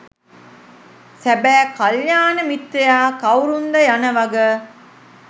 සැබෑ කල්‍යාණ මිත්‍රයා කවුරුන්ද යන වග